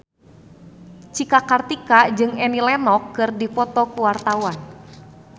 Cika Kartika jeung Annie Lenox keur dipoto ku wartawan